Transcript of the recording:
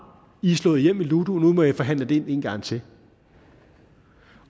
i er slået hjem i ludo og nu må i forhandle det ind en gang til